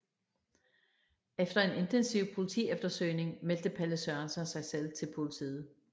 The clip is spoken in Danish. Efter en intensiv politieftersøgning meldte Palle Sørensen sig selv til politiet